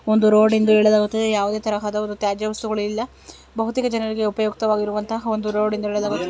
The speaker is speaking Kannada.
ಒಂದು ರೋಡು ಎಂದು ಹೇಳಲಾಗುತ್ತದೆ ಯಾವುದೇ ತರಹದ ಒಂದು ತ್ಯಾಜ್ಯ ವಸ್ತುಗಳು ಇಲ್ಲ ಬಹುತೇಕ ಜನರಿಗೆ ಉಪಯೋಗವಾಗಿರುವಂತಹ ಒಂದು ರೋಡ್ ಎಂದು ಹೇಳಲಾಗುತ್ತದೆ.